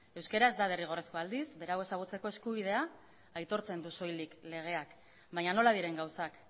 euskara ez da derrigorrezkoa aldiz berau ezagutzeko eskubidea aitortzen du soilik legeak baina nola diren gauzak